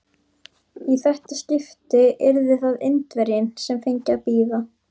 Í þetta skipti yrði það Indverjinn, sem fengi að bíða.